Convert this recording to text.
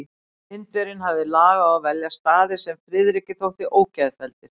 Indverjinn hafði lag á að velja staði, sem Friðriki þóttu ógeðfelldir.